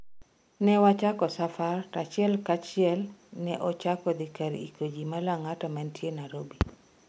Newachako safar to achiel ka achiel ne ochako dhi kar iko jii ma Lang'ata mantie Nairobi.